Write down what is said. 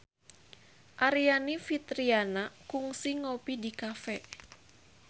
Aryani Fitriana kungsi ngopi di cafe